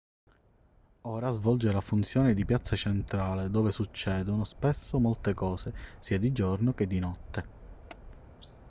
ora svolge la funzione di piazza centrale dove succedono spesso molte cose sia di giorno che di notte